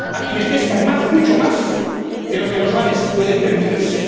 a quienes pescan más, mucho más, de lo que los mares pueden permitirse